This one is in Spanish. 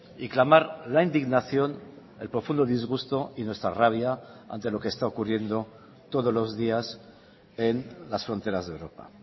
y clamar la indignación el profundo disgusto y nuestra rabia ante lo que está ocurriendo todos los días en las fronteras de europa